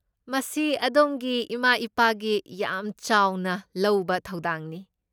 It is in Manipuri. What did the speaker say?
ꯃꯁꯤ ꯑꯗꯣꯝꯒꯤ ꯏꯃꯥ ꯏꯄꯥꯒꯤ ꯌꯥꯝ ꯆꯥꯎꯅ ꯂꯧꯕ ꯊꯧꯗꯥꯡꯅꯤ꯫